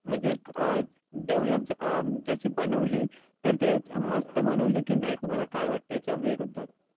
म्हणजे अं develop अं जशी बनवली तर ते मस्त बनवली की नाही, तुम्हाला काय वाटते याच्या विरुद्धात?